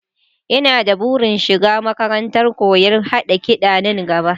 Ina da burin shiga makarantar koyon haɗa kiɗa nan gaba